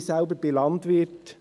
Ich bin selbst Landwirt.